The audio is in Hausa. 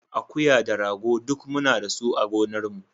Akuya da rago duk muna da su a gonarmu.